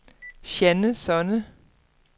Jeanne Sonne